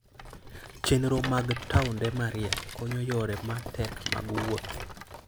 Chenro mag taonde mariek konyo yore ma tek mag wuoth.